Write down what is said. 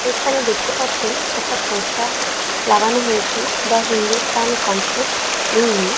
এখানে দেখতে পাচ্ছেন একটা পোস্টার লাগানো হয়েছে দ্যা হিন্দুস্তান কনসেপ্ট ইংলি--